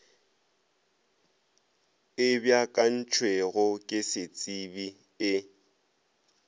e beakantšwego ke setsebi e